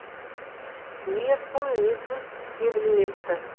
не құм не тұз себілмепті